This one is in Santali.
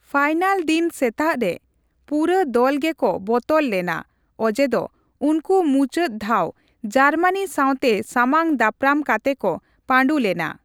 ᱯᱷᱟᱹᱭᱱᱟᱞ ᱫᱤᱱ ᱥᱮᱛᱟᱜ ᱨᱮ, ᱯᱩᱨᱟᱹ ᱫᱚᱞᱜᱮ ᱠᱚ ᱵᱚᱛᱚᱨ ᱞᱮᱱᱟ ᱚᱡᱮ ᱫᱚ ᱩᱱᱠᱩ ᱢᱩᱪᱟᱹᱫ ᱫᱷᱟᱣ ᱡᱟᱨᱢᱟᱱᱤ ᱥᱟᱸᱣᱛᱮ ᱥᱟᱢᱟᱝ ᱫᱟᱯᱨᱟᱢ ᱠᱟᱛᱮ ᱠᱚ ᱯᱟᱸᱰᱩ ᱞᱮᱱᱟ ᱾